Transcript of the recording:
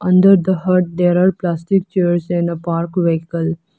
Under the hut there are plastic chairs and a park vehicle.